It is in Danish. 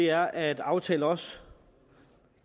er at aftalen også